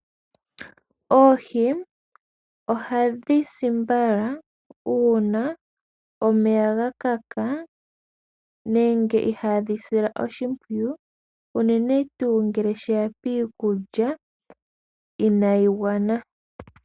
Oohi ohadhi si mbala uuna omeya ga kaka nenge ihaadhi silwa oshimpwiyu. Unene tuu ngele sheya piikulya inaayi gwana.